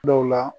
Dɔw la